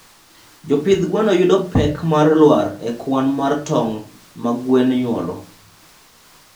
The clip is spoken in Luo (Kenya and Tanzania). jopidh gwen yudo pek mar lwar e kwan mar tong ma gwen nyuolo